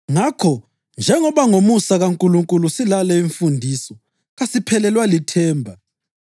Ngakho, njengoba ngomusa kaNkulunkulu silale imfundiso, kasiphelelwa lithemba.